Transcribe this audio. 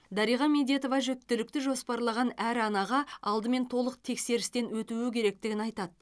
дариға медетова жүктілікті жоспарлаған әр анаға алдымен толық тексерістен өтуі керектігін айтады